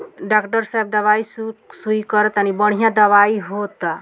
Doctor साहब दवाई सु-सुई करा तानी बढ़िया दवाई होता।